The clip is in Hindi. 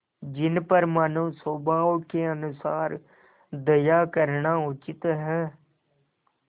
जिन पर मानवस्वभाव के अनुसार दया करना उचित है